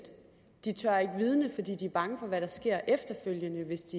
de tør ikke vidne fordi de er bange for hvad der sker efterfølgende hvis